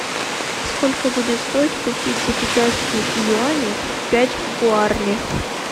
сколько будет стоить купить за китайские юани пять гуарани